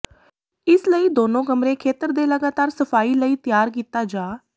ਇਸ ਲਈ ਦੋਨੋ ਕਮਰੇ ਖੇਤਰ ਦੇ ਲਗਾਤਾਰ ਸਫਾਈ ਲਈ ਤਿਆਰ ਕੀਤਾ ਜਾ